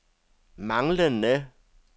manglende